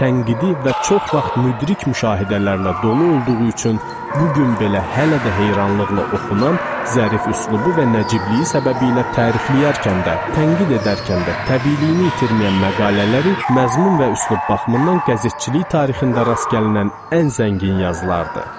Tənqidi və çox vaxt müdrik müşahidələrlə dolu olduğu üçün bu gün belə hələ də heyranlıqla oxunan, zərif üslubu və nəcibliyi səbəbilə tərifləyərkən də, tənqid edərkən də təbiiliyini itirməyən məqalələri məzmun və üslub baxımından qəzetçilik tarixində rast gəlinən ən zəngin yazılardır.